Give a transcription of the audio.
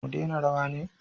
Mu dena rawa ne?